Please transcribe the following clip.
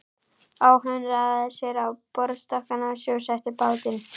Áhöfnin raðaði sér á borðstokkana og sjósetti bátinn.